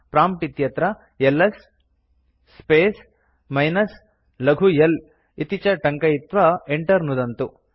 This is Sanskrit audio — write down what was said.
प्रॉम्प्ट् इत्यत्र एलएस स्पेस् मिनस् लघु l इति च टङ्कयित्वा enter नुदन्तु